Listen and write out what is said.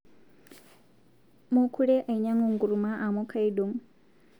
Mukure ainyang'u nkuruma amu kaidong